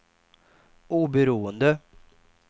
oberoende